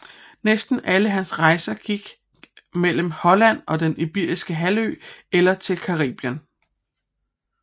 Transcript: Næsten alle hans rejser gik mellem Holland og Den Iberiske Halvø eller til Caribien